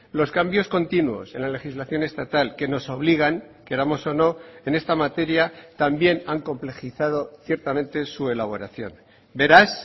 los cambios continuos en la legislación estatal que nos obligan queramos o no en esta materia también han complejizado ciertamente su elaboración beraz